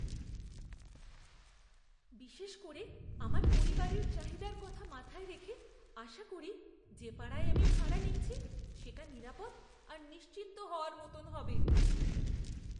বিশেষ করে আমার পরিবারের চাহিদার কথা মাথায় রেখে আশা করি, যে পাড়ায় আমি ভাড়া নিচ্ছি সেটা নিরাপদ আর নিশ্চিন্ত হওয়ার মতন হবে।